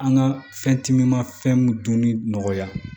An ka fɛn timimafɛnw dunni nɔgɔya